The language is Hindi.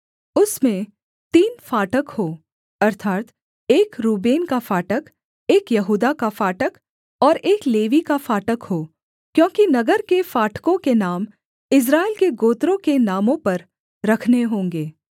उसमें तीन फाटक हों अर्थात् एक रूबेन का फाटक एक यहूदा का फाटक और एक लेवी का फाटक हो क्योंकि नगर के फाटकों के नाम इस्राएल के गोत्रों के नामों पर रखने होंगे